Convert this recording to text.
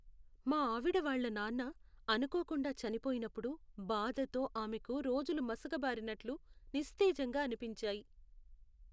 మా ఆవిడవాళ్ళ నాన్న అనుకోకుండా చనిపోయినప్పుడు బాధతో ఆమెకు రోజులు మసకబారినట్లు నిస్తేజంగా అనిపించాయి.